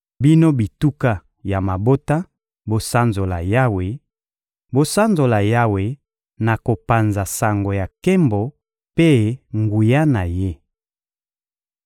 Bino bituka ya mabota, bosanzola Yawe, bosanzola Yawe na kopanza sango ya nkembo mpe nguya na Ye!